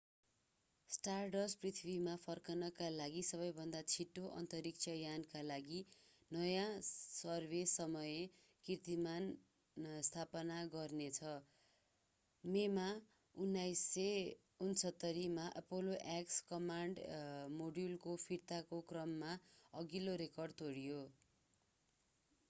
stardust पृथ्वीमा फर्कनका लागि सबैभन्दा छिटो अन्तरिक्ष यानका लागि नयाँ सर्व-समय कीर्तिमान स्थापित गर्नेछ मेमा 1969 मा apollo x कमान्ड मोड्युलको फिर्ताको क्रममा अघिल्लो रेकर्ड तोड्यो